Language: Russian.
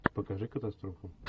покажи катастрофу